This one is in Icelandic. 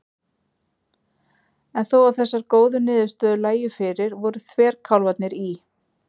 En þó að þessar góðu niðurstöður lægju fyrir voru þverkálfarnir í